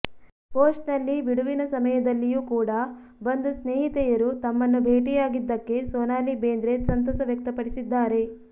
post ನಲ್ಲಿ ಬಿಡುವಿನ ಸಮಯದಲ್ಲಿಯೂ ಕೂಡ ಬಂದು ಸ್ನೇಹಿತೆಯರು ತಮ್ಮನ್ನು ಭೇಟಿಯಾಗಿದ್ದಕ್ಕೆ ಸೊನಾಲಿ ಬೇಂದ್ರೆ ಸಂತಸ ವ್ಯಕ್ತಪಡಿಸಿದ್ದಾರೆ